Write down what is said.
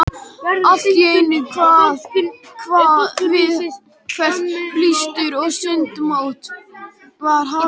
Alltíeinu kvað við hvellt blístur og sundmótið var hafið.